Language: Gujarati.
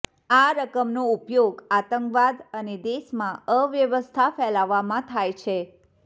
આ રકમનો ઉપયોગ આતંકવાદ અને દેશમાં અવ્યવસ્થા ફેલાવવામાં થાય છે